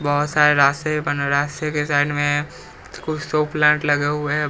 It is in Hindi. बहुत सारे रास्ते बन रास्ते के साइड में कुछ तो प्लांट लगे हुए हैं।